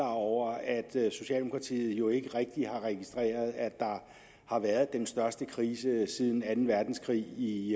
over at socialdemokratiet jo ikke rigtig har registreret at der har været den største krise siden anden verdenskrig i